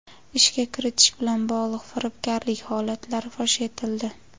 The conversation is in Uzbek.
Ishga kiritish bilan bog‘liq firibgarlik holatlari fosh etildi.